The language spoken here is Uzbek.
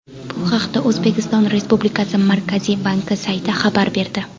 Bu haqda O‘zbekiston Respublikasi Markaziy banki sayti xabar berdi .